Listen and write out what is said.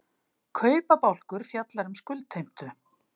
kaupabálkur fjallar um skuldheimtu